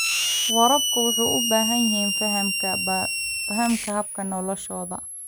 Waraabka wuxuu u baahan yahay fahamka hab-nololeedyada.